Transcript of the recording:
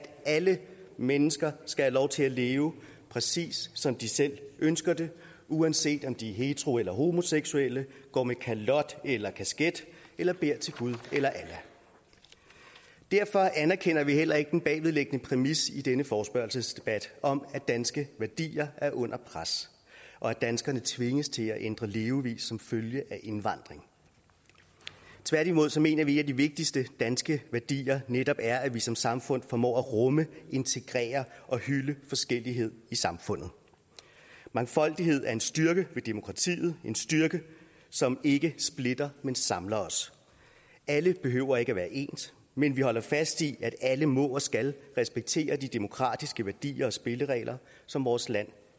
alle mennesker skal have lov til at leve præcis som de selv ønsker det uanset om de er hetero eller homoseksuelle går med kalot eller kasket eller beder til gud eller allah derfor anerkender vi heller ikke den bagvedliggende præmis i denne forespørgselsdebat om at danske værdier er under pres og at danskerne tvinges til at ændre levevis som følge af indvandring tværtimod mener vi at de vigtigste danske værdier netop er at vi som samfund formår at rumme integrere og hylde forskellighed i samfundet mangfoldighed er en styrke ved demokratiet en styrke som ikke splitter men samler os alle behøver ikke at være ens men vi holder fast i at alle må og skal respektere de demokratiske værdier og spilleregler som vores land